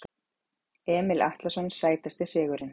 Emil Atlason Sætasti sigurinn?